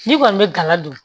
N'i kɔni bɛ gala dun